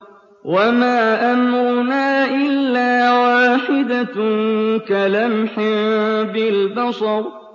وَمَا أَمْرُنَا إِلَّا وَاحِدَةٌ كَلَمْحٍ بِالْبَصَرِ